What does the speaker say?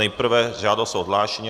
Nejprve žádost o odhlášení.